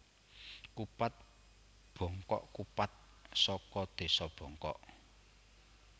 Kupat Bongkok kupat saka desa Bongkok